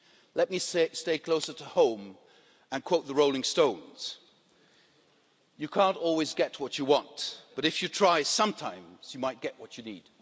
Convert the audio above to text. Let me stay closer to home and quote the Rolling Stones You can't always get what you want but, if you try, sometimes you might get what you need.'